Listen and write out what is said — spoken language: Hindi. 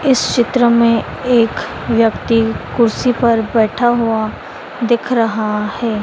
इस चित्र में एक व्यक्ति कुर्सी पर बैठा हुआ दिख रहा है।